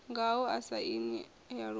ngaho sa aini ya iuingo